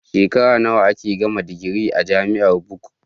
Shekara nawa ake gama digiri a jamiar buk